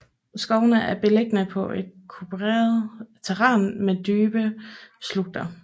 Skovene er beliggende på et kuperet terræn med dybe slugter